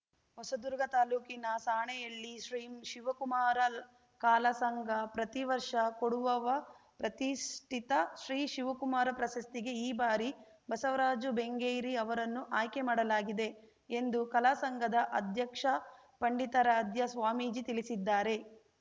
ಹೊಸದುರ್ಗ ತಾಲೂಕಿನ ಸಾಣೇಹಳ್ಳಿ ಶ್ರೀ ಶಿವಕುಮಾರ ಕಾಲಾಸಂಘ ಪ್ರತಿವರ್ಷ ಕೊಡುವವ ಪ್ರತಿಷ್ಠಿತ ಶ್ರೀ ಶಿವಕುಮಾರ ಪ್ರಶಸ್ತಿಗೆ ಈ ಬಾರಿ ಬಸವರಾಜು ಬೆಂಗೇರಿ ಅವರನ್ನು ಆಯ್ಕೆ ಮಾಡಲಾಗಿದೆ ಎಂದು ಕಲಾ ಸಂಘದ ಅಧ್ಯಕ್ಷ ಪಂಡಿತಾರಾಧ್ಯ ಸ್ವಾಮೀಜಿ ತಿಳಿಸಿದ್ದಾರೆ